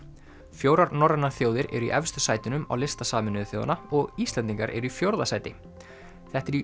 fjórar norrænar þjóðir eru í efstu sætunum á lista Sameinuðu þjóðanna og Íslendingar eru í fjórða sæti þetta er í